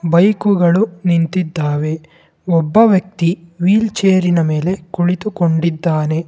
ಬೈಕುಗಳು ನಿಂತಿದ್ದಾವೆ ಒಬ್ಬ ವ್ಯಕ್ತಿ ವೀಲ್ ಚೇರಿನ ಮೆಲೆ ಕುಳಿತುಕೊಂಡಿದ್ದಾನೆ.